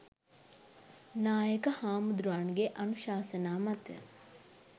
නායක හැමුදුරුවන්ගේ අනුශාසනා මත